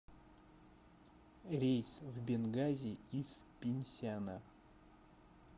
рейс в бенгази из пинсяна